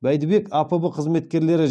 бәйдібек апб қызметкерлері